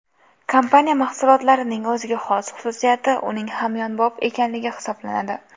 Kompaniya mahsulotlarining o‘ziga xos xususiyati uning hamyonbop ekanligi hisoblanadi.